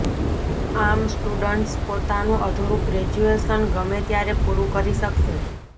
આમ સ્ટુડન્ટસ પોતાનું અધૂરુ ગ્રેજ્યુએશન ગમે ત્યારે પુરુ કરી શકશે